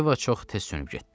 Yeva çox tez sönüb getdi.